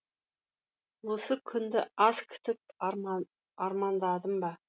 осы күнді аз күтіп армандадын ба